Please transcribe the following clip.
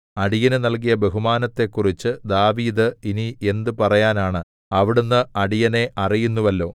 അടിയന് നൽകിയ ബഹുമാനത്തെക്കുറിച്ചു ദാവീദ് ഇനി എന്ത് പറയാനാണ് അവിടുന്ന് അടിയനെ അറിയുന്നുവല്ലോ